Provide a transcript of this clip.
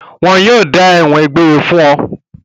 Wọn yóò dájọ́ ẹ̀wọ̀n egbére fún ọ.